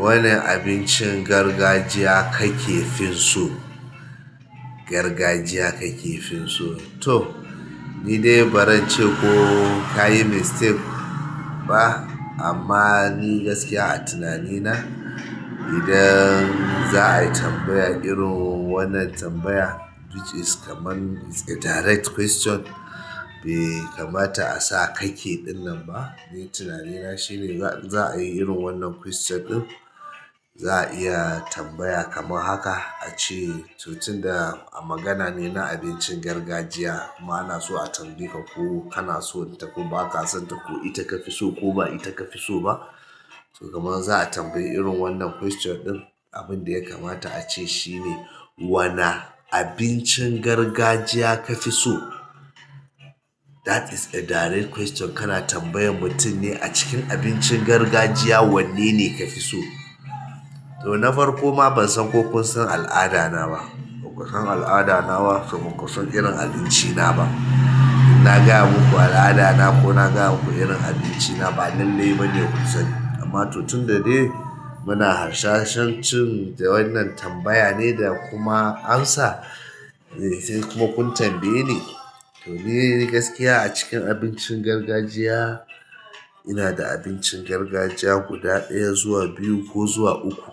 Wane abincin gargajiya ka ke fin so? Gargajiya ka ke fin so? To ni dai baran ce ko ka yi mistake ba amma ni gaskiya a tunanina idan za a yi tambaya irin wannan tambaya which is kaman is a direct question bai kamata a sa kake dinnan ba. Ni tunanina shine za in za a yi irin wannan question din, za a iya tambaya kamar haka, a ce, to tun da a magana ne na abincin gargajiya, kuma ana so a tambaye ka ko kana son ta ko ba ka son ta ko ita ka fi so ko ba ita ka fi so ba. To kaman za a tambayi irin wannan question din, abin da ya kamata a ce shine, wana abincin gargajiya ka fi so? That is a direct question. Kana tambayan mutum ne a cikin abincin gargajiya wannene ka fi so? To na farko ma ban san ko kun san al'ada na ba. Baku san al'ada na ba, to ba ku san irin abinci na ba. In na gaya muku al'ada na ko na gaya muku irin abinci na, ba lallai ba ne ku sani. Amma to tunda dai muna harshashin cinja wannan tambaya ne da kuma ansa eh se kuma kun tambaye ni. To ni gaskiya a cikin abincin gargajiya, ina da abincin gargajiya guda ɗaya zuwa biyu ko zuwa uku